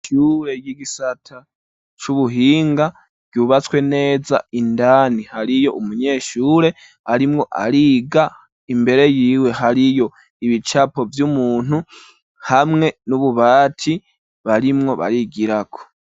Ishure y'igisata c'ubuhinga ryubatswe neza indani hariyo umunyeshure arimwo ariga imbere yiwe hariyo ibicapo vy'umuntu ,hamwe n'ububati barimwo barigirako.